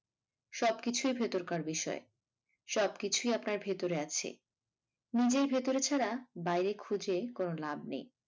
সবকিছুই ভেতরকার বিষয় সব কিছুই আপনার ভেতরে আছে নিজের ভেতরে ছাড়া বাইরে খুঁজে কোনো লাভ নেই।